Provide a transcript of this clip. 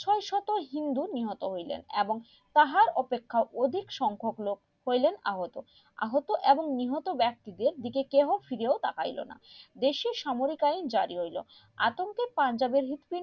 হিন্দু নিহত হইলেন এবং তাহার অপেক্ষায় অধিক সংখক লোক হইলেন আহত আহত এবং নিহত ব্যাক্তিদের দিকে কেউ ফিরে তাকাইলো না দেশি সামরিক আইন জারি হইলো আতঙ্কি পাঞ্জাবের হৃদপিন্ড